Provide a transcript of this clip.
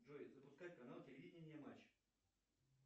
джой запускай канал телевидение матч